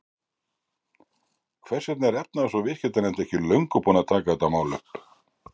Hvers vegna er efnahags- og viðskiptanefnd ekki löngu búin að taka þetta mál upp?